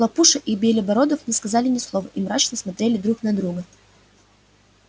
хлопуша и белебородов не сказали ни слова и мрачно смотрели друг на друга